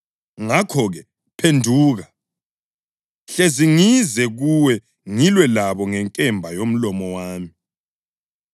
Ngakho-ke, phenduka! Hlezi ngize kuwe ngilwe labo ngenkemba yomlomo wami.